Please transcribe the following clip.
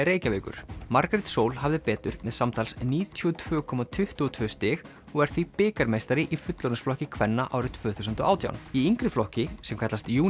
Reykjavíkur Margrét Sól hafði betur með samtals níutíu og tvö komma tuttugu og tvö stig og er því bikarmeistari í fullorðinsflokki kvenna árið tvö þúsund og átján í yngri flokki sem kallast